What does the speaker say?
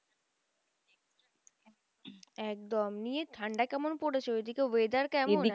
একদম নিয়ে ঠান্ডা কেমন পড়েছে ওই দিকে weather কেমন?